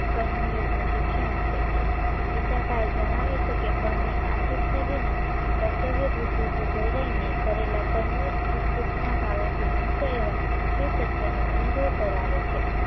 કર્મ યોગ્યનું શિક્ષણ આપે છે ગીતાકાળ જણાવે છે કે ફળની આસક્તિ વિના કર્તવ્ય બુદ્ધિથી પ્રેરાઈને કરેલા કર્મો સુખ દુખના ભાવોથી મુક્ત એવા શિવ તત્વનો અનુભવ કરાવે છે